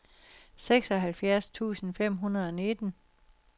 seksoghalvfjerds tusind fem hundrede og nitten